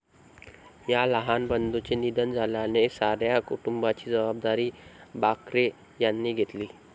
या लहान बंधुचे निधन झाल्याने साऱ्या कुटुंबाची जबाबदारी बाकरे यांनी घेतली.